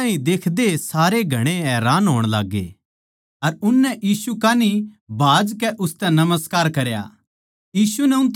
यीशु ताहीं देखदे ए सारे घणे हैरान होण लाग्गे अर उननै यीशु कान्ही भाजकै उसतै नमस्कार करया